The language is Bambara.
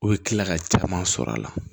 U bɛ kila ka caman sɔrɔ a la